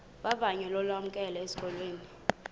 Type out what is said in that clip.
vavanyo lokwamkelwa esikolweni